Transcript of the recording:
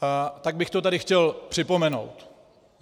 Tak bych to tady chtěl připomenout.